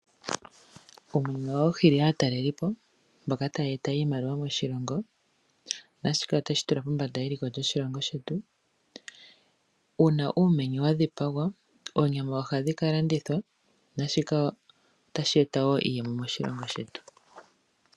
Uumenye ohawu hili aatalelipo, mboka ya ya eta iimaliwa moshilongo naashika itashi tula pombanda yeliko lyoshilongo shetu. Uuna uumenye wa dhipagwa, oonyama ohadhi ka landithwapo otashi eta iiyemo moshilongo shetu.